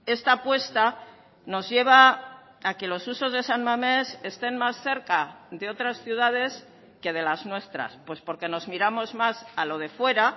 esta apuesta nos lleva a que los usos de san mamés estén más cerca de otras ciudades que de las nuestras pues porque nos miramos más a lo de fuera